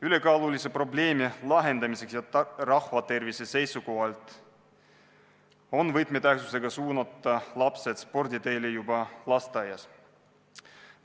Ülekaalulisuse probleemi lahendamiseks ja rahva tervise seisukohalt on võtmetähtsusega suunata lapsed sporditeele juba lasteaias.